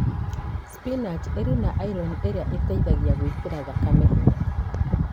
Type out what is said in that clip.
Spinaji ĩrĩ na iron ĩrĩa ĩteithagia gwĩkĩra thakame hinya.